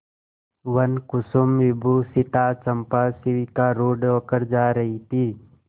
वनकुसुमविभूषिता चंपा शिविकारूढ़ होकर जा रही थी